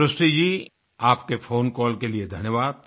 सृष्टि जी आपके phone call के लिए धन्यवाद्